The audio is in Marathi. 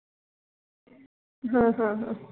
ह ह ह